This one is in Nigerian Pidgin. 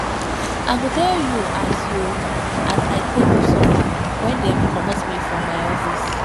i go tell you as you as i take suffer wen dem comot me from my office